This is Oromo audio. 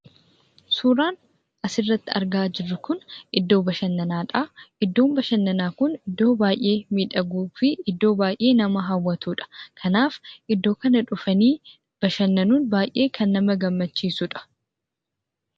Suuraan as irratti argaa jiruu kun, iddoo bashanannaadha. Iddoon bashananaa kun iddoo baay'ee midhaguufi iddoo baay'ee nama hawwaatudha. Kanaaf, iddoo kana dhufani bashanannuun baay'ee kan nama gaammachisuudha.